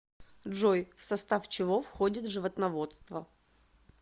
джой в состав чего входит животноводство